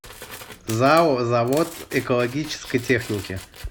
зао завод экологической техники